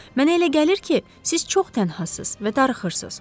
Mənə elə gəlir ki, siz çox tənhasız və darıxırsız.